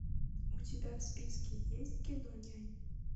у тебя в списке есть кино нянь